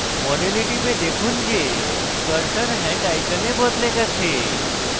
model টিপে দেখুন যে cursor hand icon বদলে গেছে